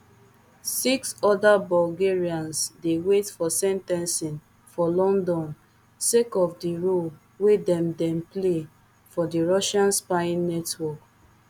six oda bulgarians dey wait for sen ten cing for london sake of di role wey dem dem play for di russian spying network